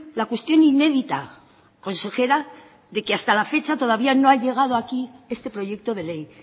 la cuestión inédita consejera de que hasta la fecha todavía no ha llegado aquí este proyecto de ley